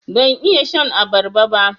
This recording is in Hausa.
Ban iya shan abarba ba.